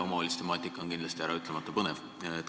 Omavalitsuste temaatika on kindlasti äraütlemata põnev.